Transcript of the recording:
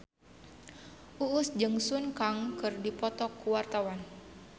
Uus jeung Sun Kang keur dipoto ku wartawan